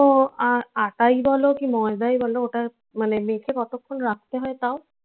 তো আহ আটা ই বলো কি ময়দাই বলো ওটা মানে মেখে কতক্ষন রাখতে হয় তাও